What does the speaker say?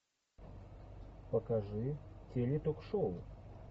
покажи теле ток шоу